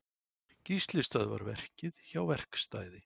Gísli stöðvar verkið hjá verkstæði